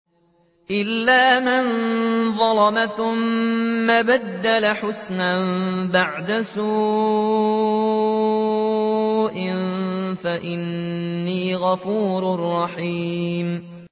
إِلَّا مَن ظَلَمَ ثُمَّ بَدَّلَ حُسْنًا بَعْدَ سُوءٍ فَإِنِّي غَفُورٌ رَّحِيمٌ